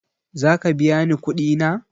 Zaka biya ni kuɗi na?